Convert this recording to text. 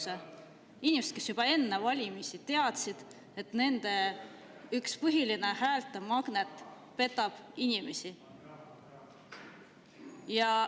Need inimesed teadsid juba enne valimisi, et nende üks põhiline häältemagnet petab inimesi.